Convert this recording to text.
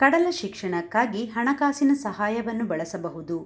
ಕಡಲ ಶಿಕ್ಷಣಕ್ಕಾಗಿ ಹಣಕಾಸಿನ ಸಹಾಯವನ್ನು ಬಳಸಬಹುದು